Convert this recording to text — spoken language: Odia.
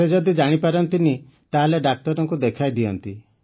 ସେ ଯଦି ଜାଣିପାରନ୍ତିନି ତାହେଲେ ଡାକ୍ତରଙ୍କୁ ଦେଖାଇଦିଅନ୍ତି